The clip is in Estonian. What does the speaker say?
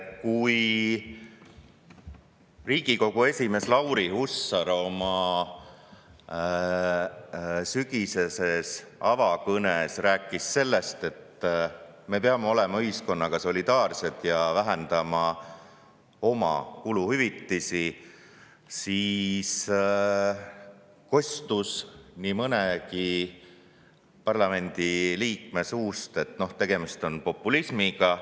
Kui Riigikogu esimees Lauri Hussar oma sügiseses avakõnes rääkis sellest, et me peame olema ühiskonnaga solidaarsed ja vähendama oma kuluhüvitisi, siis kostus nii mõnegi parlamendiliikme suust, et tegemist on populismiga.